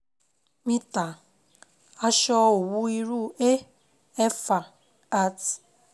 mítà aṣọ owu Iru A ̣éfà at